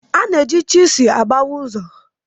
A na-eji chisel agbawa ụzọ.